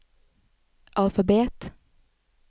alfabet